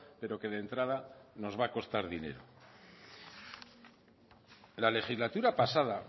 pero que de entrada nos va a costar dinero la legislatura pasada